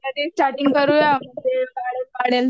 करूया